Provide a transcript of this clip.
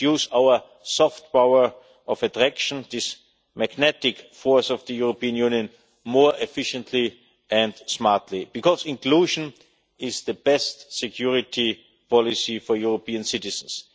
We must use our soft power' of attraction, this magnetic force of the European Union, more efficiently and smartly. Because inclusion is the best security policy for European citizens.